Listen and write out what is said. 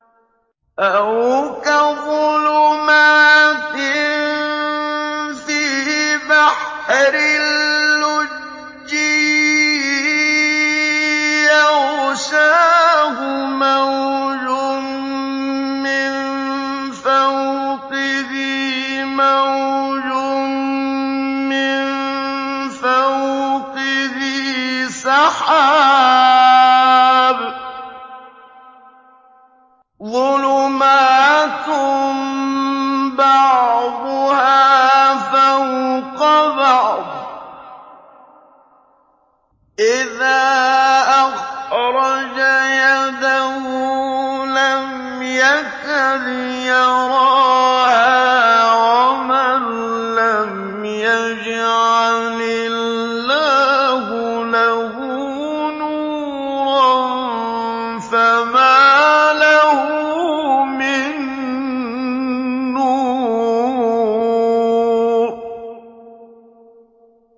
أَوْ كَظُلُمَاتٍ فِي بَحْرٍ لُّجِّيٍّ يَغْشَاهُ مَوْجٌ مِّن فَوْقِهِ مَوْجٌ مِّن فَوْقِهِ سَحَابٌ ۚ ظُلُمَاتٌ بَعْضُهَا فَوْقَ بَعْضٍ إِذَا أَخْرَجَ يَدَهُ لَمْ يَكَدْ يَرَاهَا ۗ وَمَن لَّمْ يَجْعَلِ اللَّهُ لَهُ نُورًا فَمَا لَهُ مِن نُّورٍ